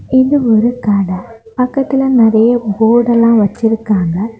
இது ஒரு கடை பக்கத்துல நிறைய போடு எல்லாம் வச்சிருக்காங்க.